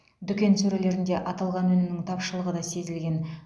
дүкен сөрелерінде аталған өнімнің тапшылығы да сезілген